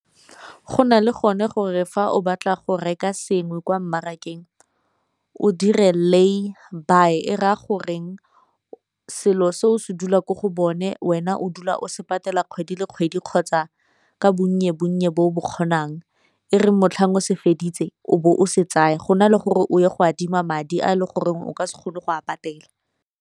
Go na le gone gore fa o batla go reka sengwe kwa mmarakeng o dire layby e raya goreng selo se o se dula ko go bone wena o dula o se patela kgwedi le kgwedi kgotsa ka bonye bonnye bo o bo kgonang, e reng motlhang o se feditse o be o se tsaya gona le gore o ye go adima madi a e le goreng o ka se kgone go a patela.